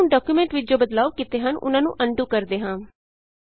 ਆਉ ਹੁਣ ਡਾਕਯੂਮੈਂਟ ਵਿਚ ਜੋ ਬਦਲਾਉ ਕੀਤੇ ਹਨ ਉਹਨਾਂ ਨੂੰ ਅਨਡੂ ਕਰਦੇ ਹਾਂ